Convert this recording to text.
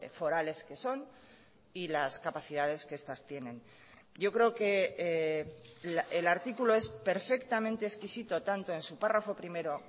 forales que son y las capacidades que estas tienen yo creo que el artículo es perfectamente exquisito tanto en su párrafo primero